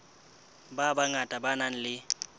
ba bangata ba nang le